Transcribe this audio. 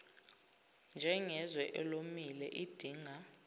njengezwe elomile idinga